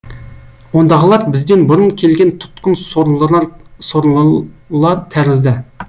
ондағылар бізден бұрын келген тұтқын сорлылар тәрізді